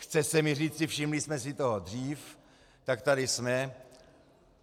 Chce se mi říci, všimli jsme si toho dřív, tak tady jsme.